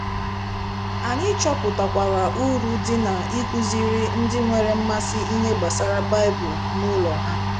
Anyị chọpụtakwara uru dị n'ịkụziri ndị nwere mmasị ihe gbasara Baịbụl n'ụlọ ha.